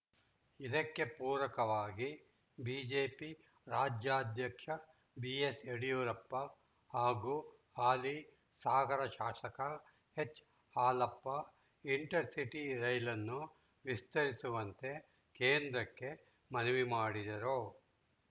ಇದಕ್ಕೆ ಪೂರಕವಾಗಿ ಬಿಜೆಪಿ ರಾಜ್ಯಾಧ್ಯಕ್ಷ ಬಿಎಸ್‌ಯಡಿಯೂರಪ್ಪ ಹಾಗೂ ಹಾಲಿ ಸಾಗರ ಶಾಸಕ ಎಚ್‌ಹಾಲಪ್ಪ ಇಂಟರ್‌ಸಿಟಿ ರೈಲನ್ನು ವಿಸ್ತರಿಸುವಂತೆ ಕೇಂದ್ರದಕ್ಕೆ ಮನವಿ ಮಾಡಿದ್ದರು